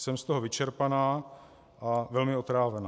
Jsem z toho vyčerpaná a velmi otrávená.